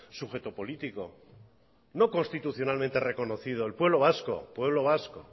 sujeto político no constitucionalmente reconocido el pueblo vasco pueblo vasco